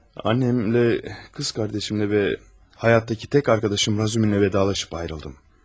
Annemlə, qız qardaşımla və həyatdakı tək arkadaşım Razuminlə vidalaşıb ayrıldım.